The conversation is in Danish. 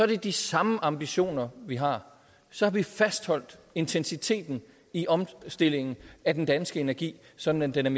det de samme ambitioner vi har så vi får fastholdt intensiteten i omstillingen af den danske energi sådan at den